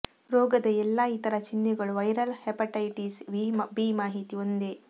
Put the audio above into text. ರೋಗದ ಎಲ್ಲಾ ಇತರ ಚಿಹ್ನೆಗಳು ವೈರಲ್ ಹೆಪಟೈಟಿಸ್ ಬಿ ಮಾಹಿತಿ ಒಂದೇ